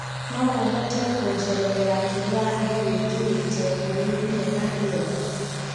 no ũhote kũjerethera kĩrĩa engũĩkirite kũri thĩnema ĩyo